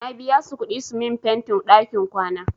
Na biya su kuɗi su min fentin ɗakin kwana.